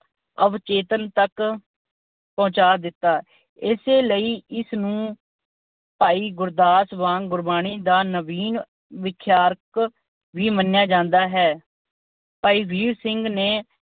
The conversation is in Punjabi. ਅਵਚੇਤਨ ਤੱਕ ਪਹੁੰਚਾ ਦਿੱਤਾ। ਇਸੇ ਲਈ ਇਸ ਨੂੰ ਭਾਈ ਗੁਰਦਾਸ ਵਾਂਗ ਗੁਰਬਾਣੀ ਦਾ ਨਵੀਨ ਵਿਖਿਆਤਮਕ ਵੀ ਮੰਨਿਆ ਜਾਂਦਾ ਹੈ। ਭਾਈ ਵੀਰ ਸਿੰਘ ਨੇ